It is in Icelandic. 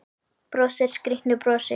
Brosir skrýtnu brosi.